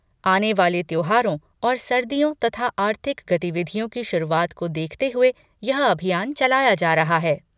आने वाले त्योहारों और सर्दियों तथा आर्थिक गतिविधियों की शुरुआत को देखते हुए यह अभियान चलाया जा रहा है।